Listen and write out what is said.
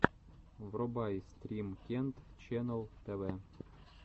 врубай стрим кент ченнал тв